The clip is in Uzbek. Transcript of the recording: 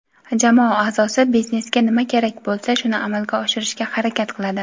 jamoa aʼzosi biznesga nima kerak bo‘lsa shuni amalga oshirishga harakat qiladi;.